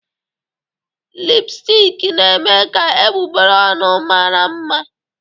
Lipụstik na-eme ka egbugbere ọnụ mara mma.